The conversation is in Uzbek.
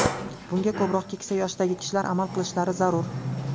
Bunga ko‘proq keksa yoshdagi kishilar amal qilishlari zarur.